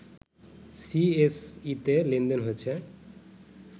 সিএসইতে লেনদেন হয়েছে